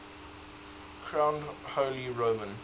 crowned holy roman